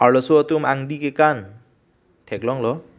arloso tum angdi kekan theklonglo.